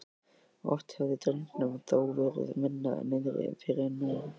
Oft hafði drengnum þó verið minna niðri fyrir en nú.